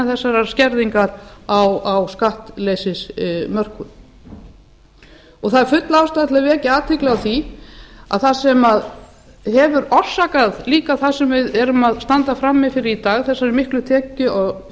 þessarar skerðingar á skattleysismörkum það er full ástæða til að vekja athygli á því að það sem hefur líka orsakað það sem við stöndum frammi fyrir í dag hin mikla